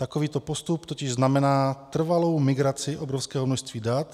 Takovýto postup totiž znamená trvalou migraci obrovského množství dat.